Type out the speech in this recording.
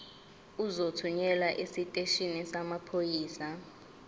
uzothunyelwa esiteshini samaphoyisa